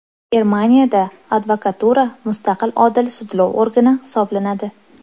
Germaniyada advokatura mustaqil odil sudlov organi hisoblanadi .